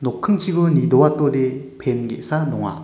nokkingchiko nidoatode pen ge·sa donga.